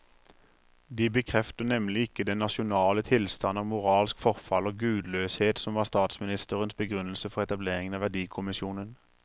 De bekrefter nemlig ikke den nasjonale tilstand av moralsk forfall og gudløshet som var statsministerens begrunnelse for etableringen av verdikommisjonen.